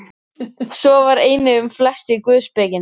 Svo var einnig um flest í guðspekinni.